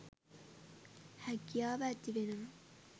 හැකියාව ඇතිවෙනවා